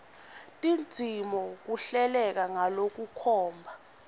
tindzima kuhleleke ngalokukhomba